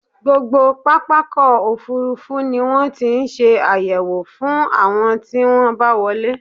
Gbogbo pápákọ̀-òfurufú ni wọ́n ti ń ṣe àyẹ̀wò fún àwọn tí wọ́n bá wọlé.